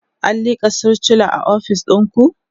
an lika sircula a ofis ɗinku?